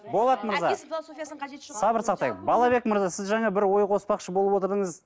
болат мырза сабыр сақтайық балабек мырза сіз жаңа бір ой қоспақшы болып отырдыңыз